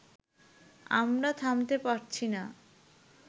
আমরা থামাতে পারছি না